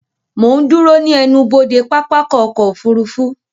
Mo ń dúró ní ẹnubodè pápákọ̀ ọkọ̀ òfurufú